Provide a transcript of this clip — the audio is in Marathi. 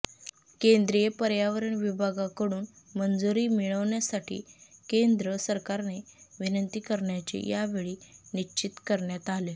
केंद्रीय पर्यावरण विभागाकडून मंजुरी मिळवण्यासाठी केंद्र सरकारने विनंती करण्याचे या वेळी निश्चित करण्यात आले